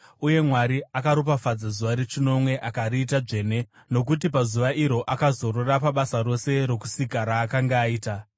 Uye Mwari akaropafadza zuva rechinomwe akariita dzvene nokuti pazuva iro akazorora pabasa rose rokusika raakanga aita.